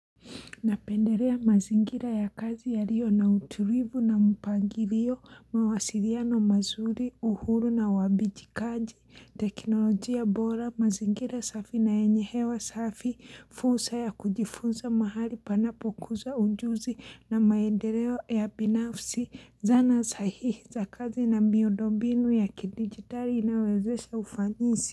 Napenderea mazingira ya kazi ya rio na utulivu na mpangirio, mawasiriano mazuri, uhuru na uwabijikaji, teknolojia bora, mazingira safi na yenye hewa safi, fursa ya kujifunza mahali panapo kuzwa ujuzi na maendereo ya binafsi, zana sahihi za kazi na miondombinu ya kidigitali inawezesha ufanisi.